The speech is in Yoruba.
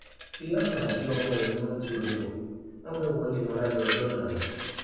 ìyá kan àti ọmọ rẹ ni wọn ń ti ọdẹ bò wọn fẹẹ wọlé wọn lálẹ ọjọ náà ni